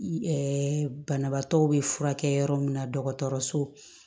banabaatɔw be furakɛ yɔrɔ min na dɔgɔtɔrɔso